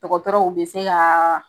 Dɔgɔtɔrɔw be se ka